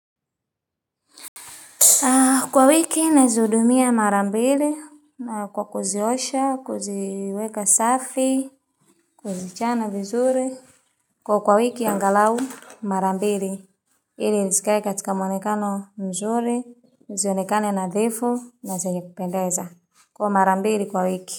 Kwa wiki nazihudumia mara mbili na kwa kuziosha, kuziweka safi, kuzichana vizuri. Kwa kwa wiki angalau mara mbili, hili zikae katika mwonekano mzuri, zionekane nadhifu, na zenye kupendeza. Kwa marambiri kwa wiki.